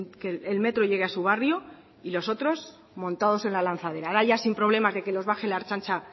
que el metro llegue a su barrio y los otros montados en la lanzadera ahora ya sin problemas de que los baje la ertzaintza